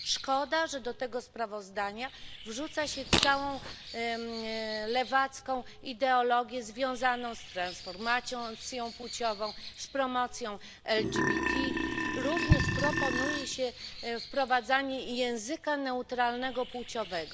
Szkoda, że do tego sprawozdania wrzuca się całą lewacką ideologię związaną z transformacją płciową, z promocją LGBTIQ, również proponuje się wprowadzanie języka neutralnego płciowego.